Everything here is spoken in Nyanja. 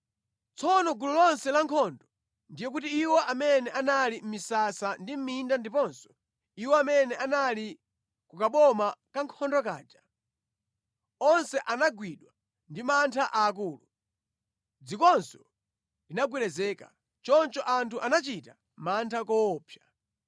Tsono gulu lonse la ankhondo, ndiye kuti iwo amene anali mʼmisasa ndi mʼminda ndiponso iwo amene anali ku kaboma ka ankhondo kaja, onse anagwidwa ndi mantha aakulu. Dzikonso linagwedezeka, choncho anthu anachita mantha koopsa.